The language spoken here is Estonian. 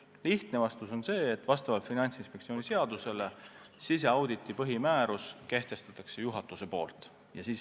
Lühike ja lihtne vastus on see, et vastavalt Finantsinspektsiooni seadusele kehtestab siseauditi põhimääruse juhatus.